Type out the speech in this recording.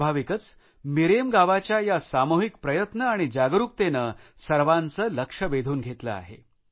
स्वाभाविकच मिरेम गावाच्या या सामूहिक प्रयत्न आणि जागरुकते मुळे सर्वांचे लक्ष वेधून घेतले आहे